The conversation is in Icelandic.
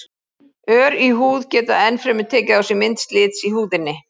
Ör í húð geta enn fremur tekið á sig mynd slits í húðinni.